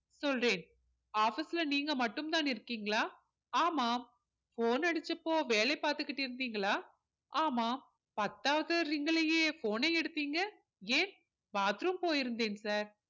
சொல்றேன் office ல நீங்க மட்டும் தான் இருக்கீங்களா ஆமாம் phone அடிச்சப்போ வேலை பார்த்துக்கிட்டு இருந்தீங்களா ஆமாம் பத்தாவது ring லயே phone ஐ எடுத்தீங்க ஏன் bathroom போயிருந்தேன் sir